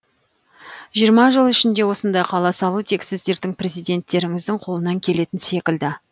жиырма жыл ішінде осындай қала салу тек сіздердің президенттеріңіздің қолынан келетін секілді